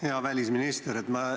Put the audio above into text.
Hea välisminister!